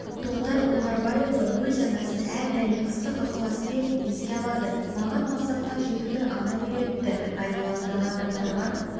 тоқтар оңғарбайұлы өз анасын әрдайым ыстық ықыласпен еске алады маған мақсатқа жетуді анам үйретті айналаңдағы адамдарға